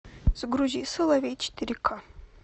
загрузи соловей четыре ка